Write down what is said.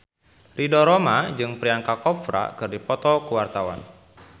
Ridho Roma jeung Priyanka Chopra keur dipoto ku wartawan